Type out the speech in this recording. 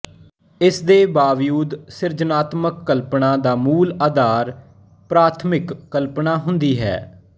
ਇਸ ਦੇ ਬਾਵਜੂਦ ਸਿਰਜਣਾਤਮਕ ਕਲਪਨਾ ਦਾ ਮੂਲ ਆਧਾਰ ਪ੍ਰਾਥਮਿਕ ਕਲਪਨਾ ਹੁੰਦੀ ਹੈ